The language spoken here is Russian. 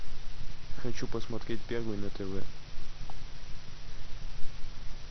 хочу посмотреть первый на тв